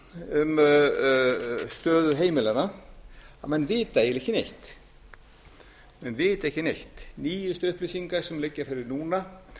um stöðu heimilanna að menn vita eiginlega ekki neitt nýjustu upplýsingar sem liggja fyrir núna